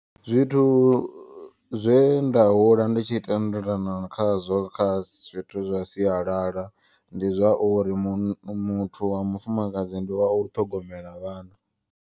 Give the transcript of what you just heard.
Zwithu zwe nda hula nditshi tendelana khazwo kha zwithu zwa siyalala. Ndi zwauri muthu wa mufumakadzi ndi wa u ṱhogomela vhana.